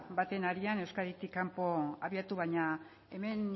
baten harian euskaditik kanpo abiatu baina hemen